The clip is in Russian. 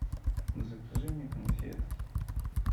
закажи мне конфет